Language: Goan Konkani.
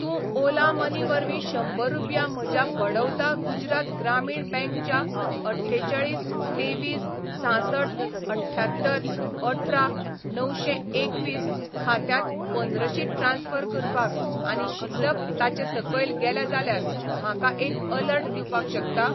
तूं ओला मनी वरवीं शंबर रुपया म्हज्या बडौदा गुजरात ग्रामीण बँक च्या अठ्ठेचाळीस तेवीस सांसठ अठ्यांत्तर अठरा णवशें एकवीस खात्यांत पंद्रशी ट्रान्स्फर करपाक आनी शिल्लक ताचे सकयल गेल्या जाल्यार म्हाका एक अलर्ट दिवपाक शकता?